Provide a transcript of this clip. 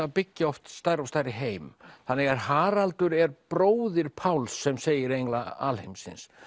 að byggja stærri og stærri heim þannig að Haraldur er bróðir Páls sem segir engla alheimsins